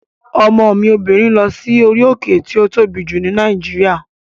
Ọmọ mi obìnrin lọ sí orí òkè tí ó tóbi jù ní Nàìjíríà